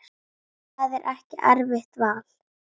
Það er ekki erfitt val.